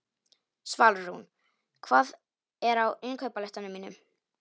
Svalrún, hvað er á innkaupalistanum mínum?